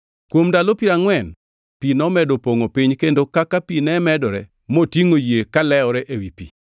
Kuom ndalo piero angʼwen pi nomedo pongʼo piny kendo kaka pi ne medore, motingʼo yie kalewore ewi pi.